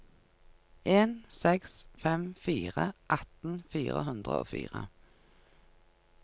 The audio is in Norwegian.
en seks fem fire atten fire hundre og fire